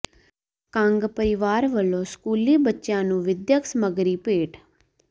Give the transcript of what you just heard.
ਕੰਗ ਪਰਿਵਾਰ ਵਲੋਂ ਸਕੂਲੀ ਬੱਚਿਆਂ ਨੂੰ ਵਿੱਦਿਅਕ ਸਮਗਰੀ ਭੇਟ